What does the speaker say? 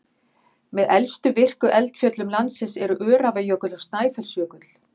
Með elstu virku eldfjöllum landsins eru Öræfajökull og Snæfellsjökull.